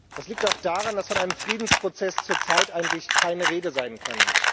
Das liegt auch daran, dass von einem Friedensprozess zurzeit eigentlich keine Rede sein kann.